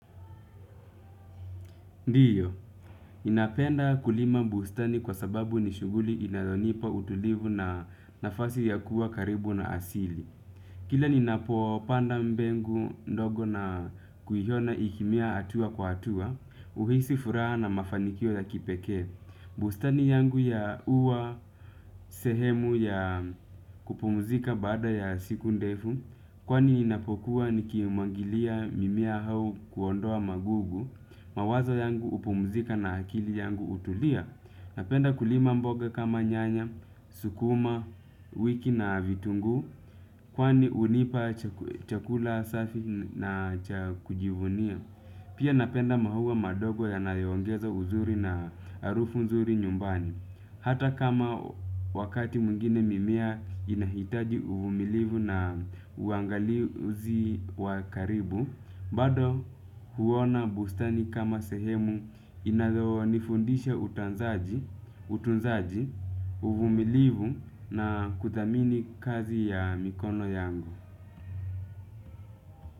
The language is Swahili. Ndiyo, ninapenda kulima bustani kwa sababu ni shughuli inayonipa utulivu na nafasi ya kuwa karibu na asili. Kila ninapopanda mbegu ndogo na kuiona ikimea hatua kwa hatua, huhisi furaha na mafanikio ya kipekee. Bustani yangu ya huwa sehemu ya kupumuzika baada ya siku ndefu, kwani inapokuwa nikimwagilia mimea au kuondoa magugu mawazo yangu hupumzika na akili yangu hutulia. Napenda kulima mboga kama nyanya, sukuma, wiki na vitungu. Kwani hunipa chakula safi na cha kujivunia. Pia napenda maua madogo yanayoongeza uzuri na harufu nzuri nyumbani. Hata kama wakati mwingine mimea inahitaji uvumilivu na uangalizi wa karibu bado huona bustani kama sehemu inayonifundisha utunzaji, uvumilivu na kuthamini kazi ya mikono yangu.